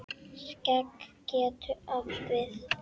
Skegg getur átt við